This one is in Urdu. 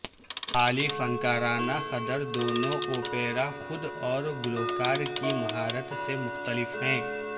اعلی فنکارانہ قدر دونوں اوپیرا خود اور گلوکار کی مہارت سے مختلف ہے